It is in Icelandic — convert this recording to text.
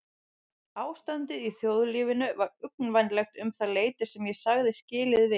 Ástandið í þjóðlífinu var uggvænlegt um það leyti sem ég sagði skilið við